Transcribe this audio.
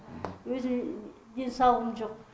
өзімнің денсаулығым жоқ